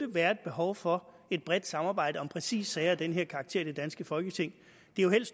være et behov for et bredt samarbejde om præcis sager af den her karakter i det danske folketing det er jo